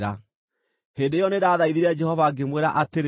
Hĩndĩ ĩyo nĩndathaithire Jehova ngĩmwĩra atĩrĩ: